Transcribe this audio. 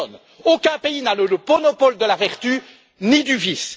Personne, aucun pays, n'a le monopole de la vertu, ni du vice!